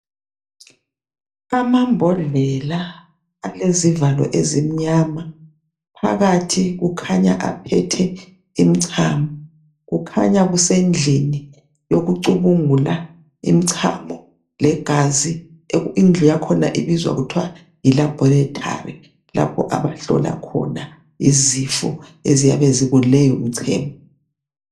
Amambodlela alezivalo ezimnyama phakathi kukhanya aphethe imicamo kukhanya kusrndlini yokucubungula imicamo legazi indlu yakhona ibizwa kuthiwa yilabholithari lapho abahlola khona izifo eziyabe zikuleyi micemo